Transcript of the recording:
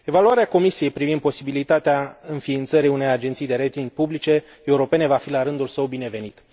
Evaluarea Comisiei privind posibilitatea înființării unei agenții de rating publice europene va fi, la rândul său, binevenită.